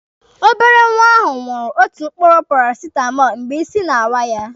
Obere nwa ahụ ṅụrụ otu mkpụrụ parasitamọlụ mgbe isi na-awọ ya.